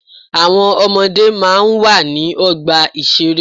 Àwọn ọmọdé máa ń wà ní ọgbà ìṣeré.